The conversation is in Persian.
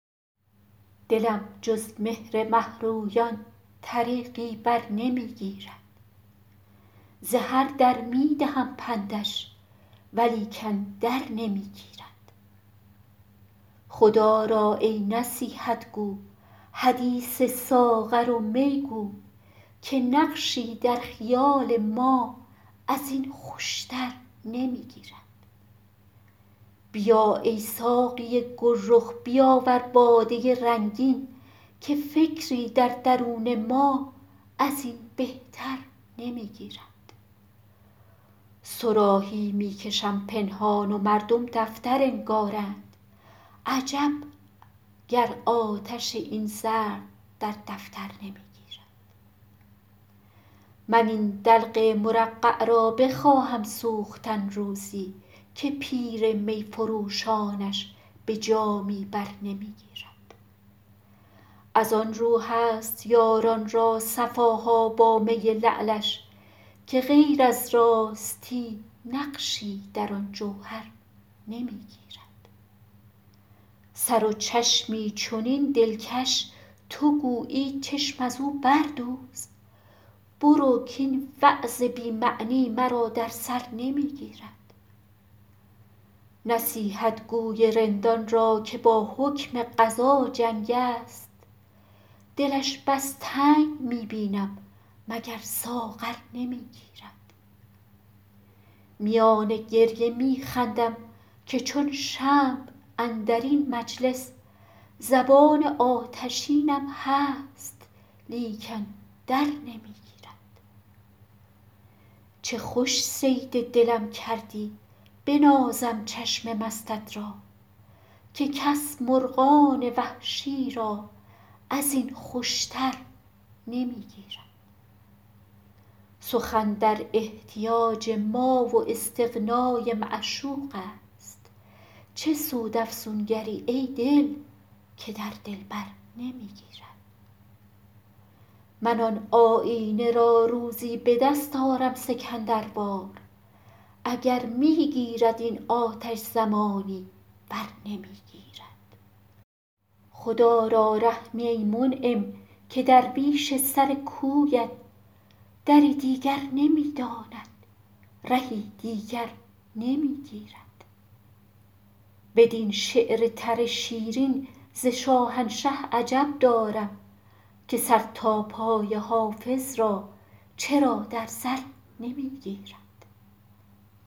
دلم جز مهر مه رویان طریقی بر نمی گیرد ز هر در می دهم پندش ولیکن در نمی گیرد خدا را ای نصیحت گو حدیث ساغر و می گو که نقشی در خیال ما از این خوش تر نمی گیرد بیا ای ساقی گل رخ بیاور باده رنگین که فکری در درون ما از این بهتر نمی گیرد صراحی می کشم پنهان و مردم دفتر انگارند عجب گر آتش این زرق در دفتر نمی گیرد من این دلق مرقع را بخواهم سوختن روزی که پیر می فروشانش به جامی بر نمی گیرد از آن رو هست یاران را صفا ها با می لعلش که غیر از راستی نقشی در آن جوهر نمی گیرد سر و چشمی چنین دلکش تو گویی چشم از او بردوز برو کاین وعظ بی معنی مرا در سر نمی گیرد نصیحتگو ی رندان را که با حکم قضا جنگ است دلش بس تنگ می بینم مگر ساغر نمی گیرد میان گریه می خندم که چون شمع اندر این مجلس زبان آتشینم هست لیکن در نمی گیرد چه خوش صید دلم کردی بنازم چشم مستت را که کس مرغان وحشی را از این خوش تر نمی گیرد سخن در احتیاج ما و استغنا ی معشوق است چه سود افسونگر ی ای دل که در دلبر نمی گیرد من آن آیینه را روزی به دست آرم سکندر وار اگر می گیرد این آتش زمانی ور نمی گیرد خدا را رحمی ای منعم که درویش سر کویت دری دیگر نمی داند رهی دیگر نمی گیرد بدین شعر تر شیرین ز شاهنشه عجب دارم که سر تا پای حافظ را چرا در زر نمی گیرد